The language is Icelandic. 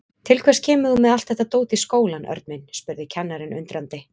Til hvers kemur þú með allt þetta dót í skólann, Örn minn? spurði kennarinn undrandi.